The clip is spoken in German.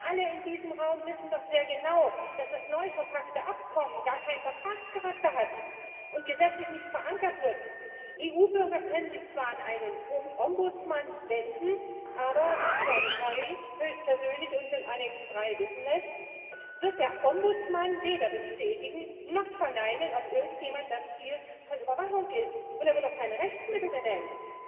Denn alle in diesem Raum wissen doch sehr genau, dass das neu verpackte Abkommen gar keinen Vertragscharakter hat und gesetzlich nicht verankert wird. EU Bürger können sich zwar an einen Ombudsmann wenden, aber wie John Kerry höchstpersönlich uns in Annex III wissen lässt, wird der Ombudsmann weder bestätigen noch verneinen, ob irgendjemand das Ziel von Überwachung ist, und er wird auch kein Rechtsmittel benennen.